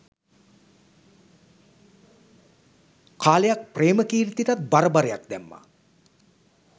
කාලයක් ප්‍රේමකීර්තිටත් බර බරයක් දැම්මා